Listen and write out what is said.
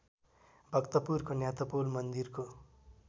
भक्तपुरको न्यातपोल मन्दिरको